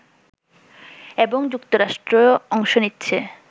এবং যুক্তরাষ্ট্র অংশ নিচ্ছে